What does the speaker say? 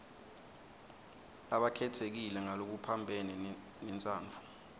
labakhetsekile ngalokuphambene nentsandvo